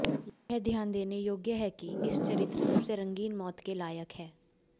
यह ध्यान देने योग्य है कि इस चरित्र सबसे रंगीन मौत के लायक है